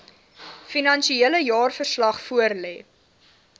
finansiële jaarverslag voorlê